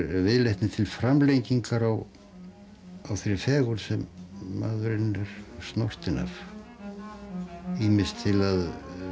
viðleitni til framlengingar á þeirri fegurð sem maðurinn er snortinn af ýmist til að